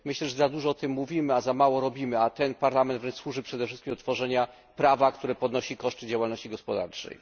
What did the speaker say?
Myślę, że za dużo o tym mówimy, a za mało robimy, a ten Parlament wręcz służy przede wszystkim do tworzenia prawa, które podnosi koszty działalności gospodarczej.